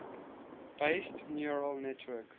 based neural network